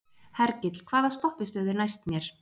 Hergill, hvaða stoppistöð er næst mér?